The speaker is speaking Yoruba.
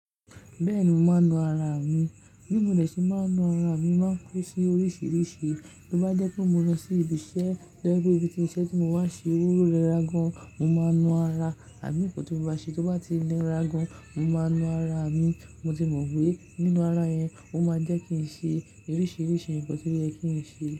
Bẹ́ẹ̀ni, mo máa ń nu ara mi. Bí mo dè ṣe máa ń nu ara mi, mo máa ń kó sí oríṣiríṣi. Bí o bá jẹ́ pé mo lọ sí ibi iṣẹ́, jẹ́ pé ibi tí mo ń ṣẹ́ tí mo bá ṣe owó rẹ ra gan, mo máa ń nu ara mi. Nkan tí mó máan ṣe tó bá ti níra gan, mo máa ń nu ara mi. Mo ti mọ̀ pé nínú ara yẹn, ó máa jẹ́ kí ń ṣe oríṣiríṣi ǹkan tí ó yẹ kí ń ṣe.